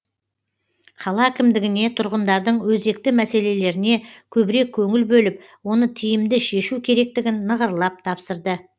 қала әкімдігіне тұрғындардың өзекті мәселелеріне көбірек көңіл бөліп оны тиімді шешу керектігін нығырлап тапсырды